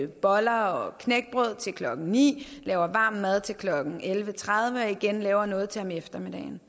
boller og knækbrød til klokken ni laver varm mad til klokken elleve tredive og igen laver noget til om eftermiddagen